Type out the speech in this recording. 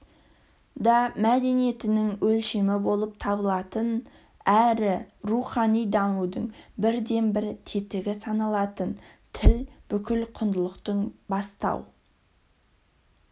да мәдениетінің өлшемі болып табылатын әрі рухани дамудың бірден-бір тетігі саналатын тіл бүкіл құндылықтың бастау